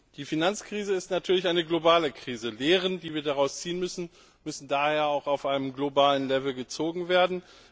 Die Finanzkrise ist natürlich eine globale Krise. Die Lehren, die wir daraus ziehen müssen, müssen daher auch auf globaler Ebene gezogen werden.